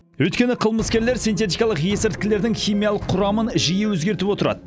өйткені қылмыскерлер синтетикалық есірткілердің химиялық құрамын жиі өзгертіп отырады